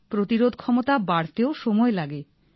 প্রতিরোধ ক্ষমতা বাড়তে ও সময় লাগে